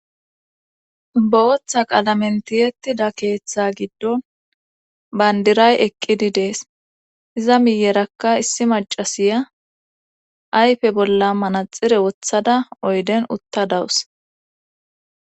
Bootha qalamentiyettida keeththa giddon bayndiray eqqidi dees iza miyerakka issi macasiya ayfe bolla manaxire wothada oyden utta dawus